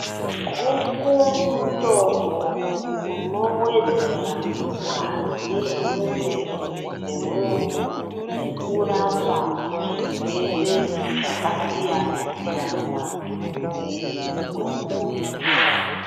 Guku mutombo unowedzera ngazi mumwiri mwemunhu nekurapa svirwere zvakasiyana siyana mumwiri mwemunhu .